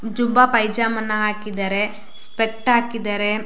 ಜುಬ್ಬಾ ಪೈಜಾಮಾ ಅನ್ನ ಹಾಕಿದರೆ ಸ್ಪೆಕ್ಟ್ ಹಾಕಿದರೆ.